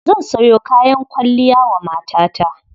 Zan sayo kayan kwalliya wa matata.